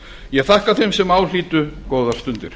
ég þakka þeim sem á hlýddu góðar stundir